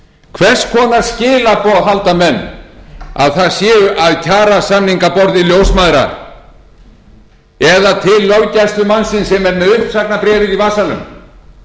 hvers konar skilaboð halda menn að það séu af kjarasamningaborði ljósmæðra eða til löggæslumannsins sem er með uppsagnarbréfið í vasanum þegar hann les um það í